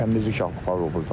Təmizlik aparılır burda.